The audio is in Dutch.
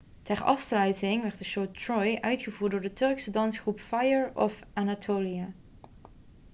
ter afsluiting werd de show troy' uitgevoerd door de turkse dansgroep fire of anatolia